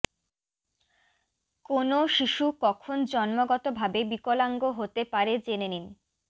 কোনও শিশু কখন জন্মগত ভাবে বিকলাঙ্গ হতে পারে জেনে নিন